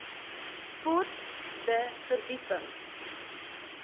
sport de verdieping